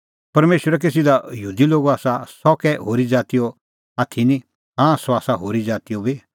परमेशर कै सिधअ यहूदी लोगो आसा सह कै होरी ज़ातीओ आथी निं हाँ सह आसा होरी ज़ातीओ बी